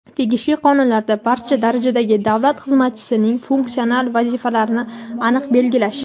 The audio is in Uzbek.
tegishli qonunlarda barcha darajadagi davlat xizmatchisining funksional vazifalarini aniq belgilash.